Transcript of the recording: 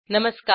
नमस्कार